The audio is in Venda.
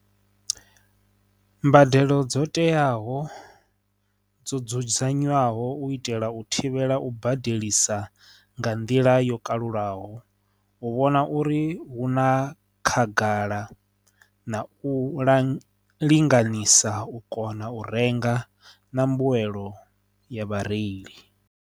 Mbadelo dzo teaho dzo dzudzanyiwaho u itela u thivhela u badelisa nga nḓila yo kalulaho, u vhona uri hu na khagala na u ḽa linganyisa u kona u renga na mbuyelo ya vhareili.